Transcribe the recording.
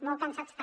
molt cansats també